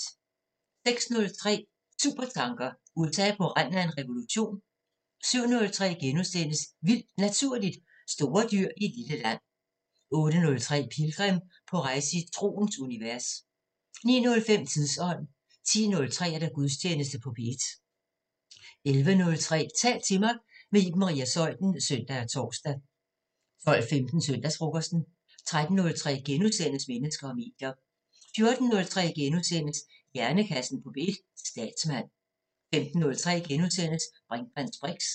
06:03: Supertanker: USA på randen af revolution? 07:03: Vildt Naturligt: Store dyr i et lille land * 08:03: Pilgrim – på rejse i troens univers 09:05: Tidsånd 10:03: Gudstjeneste på P1 11:03: Tal til mig – med Iben Maria Zeuthen (søn og tor) 12:15: Søndagsfrokosten 13:03: Mennesker og medier * 14:03: Hjernekassen på P1: Statsmand * 15:03: Brinkmanns briks *